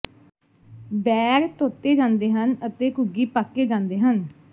ਬੈਰ ਧੋਤੇ ਜਾਂਦੇ ਹਨ ਅਤੇ ਘੁੱਗੀ ਪਾਕੇ ਜਾਂਦੇ ਹਨ